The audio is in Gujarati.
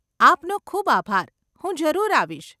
આપનો ખૂબ આભાર, હું જરૂર આવીશ.